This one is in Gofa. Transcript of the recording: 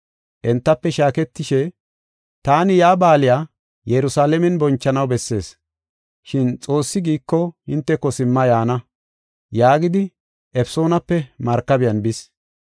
Entafe shaaketishe, “Taani yaa baaliya Yerusalaamen bonchanaw bessees. Shin Xoossi giiko hinteko simma yaana” yaagidi Efesoonape markabiyan bis.